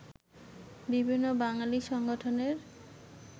বিভিন্ন বাঙালি সংগঠনের